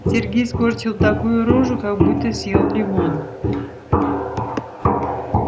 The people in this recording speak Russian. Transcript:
сергей скорчил такую рожу как будто съел лимон